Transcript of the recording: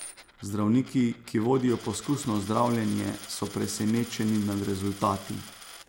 Zdravniki, ki vodijo poskusno zdravljenje, so presenečeni nad rezultati.